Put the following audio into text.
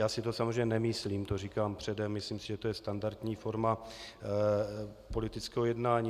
Já si to samozřejmě nemyslím, to říkám předem, myslím si, že to je standardní forma politického jednání.